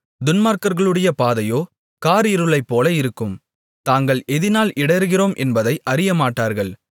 துன்மார்க்கர்களுடைய பாதையோ காரிருளைப்போல இருக்கும் தாங்கள் எதினால் இடறுகிறோம் என்பதை அறியமாட்டார்கள்